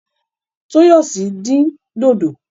Toyosi dín dòdò.